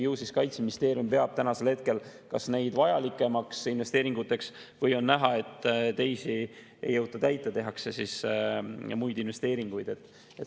Ju siis Kaitseministeerium peab tänasel hetkel neid vajalikumateks investeeringuteks või siis on näha, et mingeid ei jõuta täita, tehakse muid investeeringuid.